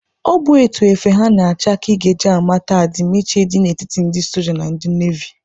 Ọ bụ etu efe ha na-acha ka ị ga eji amata adimiiche dị na etiti ndị soja na ndị navi